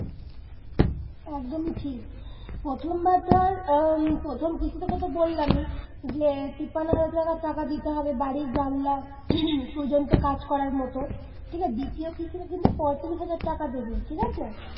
একদমই ঠিক। প্রথমবার তোর উম প্রথম কিস্তি তো তোকে বললামই, যে তিপ্পান্ন হাজার টাকা দিতে হবে বাড়ির জানলা পর্যন্ত কাজ করার মতো ঠিক আছে। দ্বিতীয় কিস্তিতে কিন্তু পঁয়তাল্লিশ হাজার টাকা দেবে ঠিক আছে।